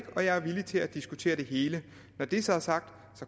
og jeg er villig til at diskutere det hele når det så er sagt